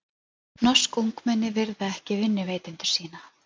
Norsk ungmenni virða ekki vinnuveitendur sína